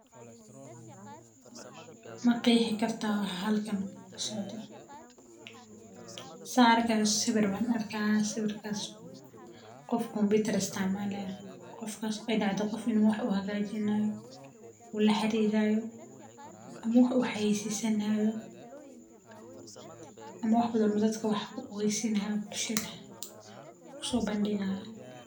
Ma qeexi kartaa waxa halkan ka socda, saarka sawir baan arkaa sawirkaas qof computer istiimaalayo qofkas dhacdo qof inuu wax hagaajinayo uu la xiriirayo, amma waxa uu haisiisinaayo ama wax badanna dadka wax ogeysina lahaa bulshada u soo bandhigaa.